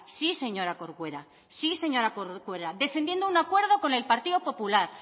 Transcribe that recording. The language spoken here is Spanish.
sí señora corcuera defendiendo un acuerdo con el partido popular